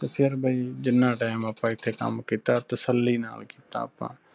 ਤੇ ਫਿਰ ਬਾਇ ਜਿਨ੍ਹਾਂ time ਆਪਾਂ ਐਥੇ ਕੰਮ ਕੀਤਾ ਤੱਸਲੀ ਨਾਲ ਕੀਤਾ ਆਪਾਂ।